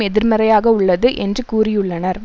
எதிர்மறையாக உள்ளது என்று கூறியுள்ளனர்